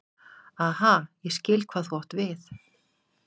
Aha, ég skil hvað þú átt við.